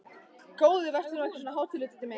Góði vertu nú ekki svona hátíðlegur, Diddi minn!